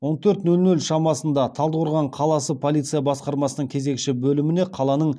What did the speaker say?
он төрт нөл нөл шамасында талдықорған қаласы полиция басқармасының кезекші бөліміне қаланың